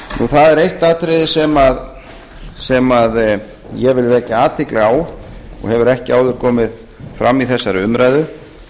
það er eitt atriði sem ég vil vekja athygli á og hefur ekki áður komið fram í þessari umræðu